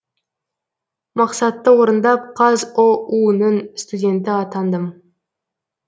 мақсатты орындап қазұу нің студенті атандым